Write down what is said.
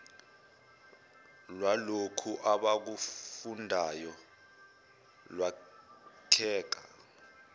lwalokhu abakufundayo lwakheka